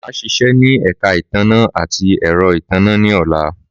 Màá sisé ní èka ìtanná àti èro ìtanná ní ọ̀la